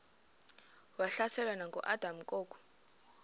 wahlaselwa nanguadam kok